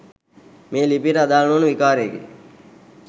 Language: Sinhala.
මේ ලිපියට අදාල නොවන විකාරයකි.